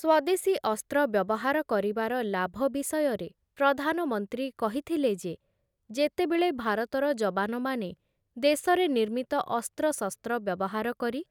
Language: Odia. ସ୍ୱଦେଶୀ ଅସ୍ତ୍ର ବ୍ୟବହାର କରିବାର ଲାଭ ବିଷୟରେ ପ୍ରଧାନମନ୍ତ୍ରୀ କହିଥିଲେ ଯେ, ଯେତେବେଳେ ଭାରତର ଯବାନମାନେ ଦେଶରେ ନିର୍ମିତ ଅସ୍ତ୍ରଶସ୍ତ୍ର ବ୍ୟବହାର କରି